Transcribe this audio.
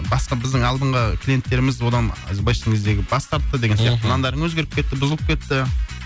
басқа біздің алдыңғы клиенттеріміз одан былайша айтқан кездегі бас тартты деген сияқты мхм нандарың өзгеріп кетті бұзылып кетті